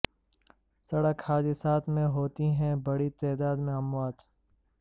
سڑک حادثات میں ہوتی ہیں بڑی تعداد میں اموات